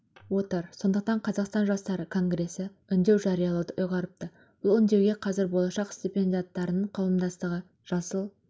отыр сондықтан қазақстан жастары конгресі үндеу жариялауды ұйғарыпты бұл үндеуге қазір болашақ стипендиаттарының қауымдастығы жасыл